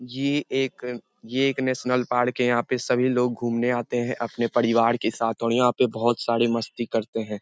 ये एक ये एक नेशनल पार्क हैं। यहाँ पे सभी लोग घूमने आते हैं अपने परिवार के साथ और यहाँ पे बहुत सारे मस्ती करते हैं।